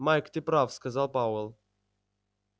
майк ты прав сказал пауэлл